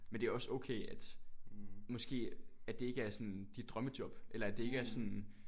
Men det er også okay at måske at det ikke er sådan dit drømmejob eller at det ikke er sådan